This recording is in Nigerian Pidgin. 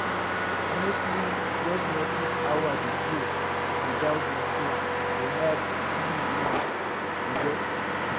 honestly to just notice how i dey feel without wahala dey help calm my mind you get?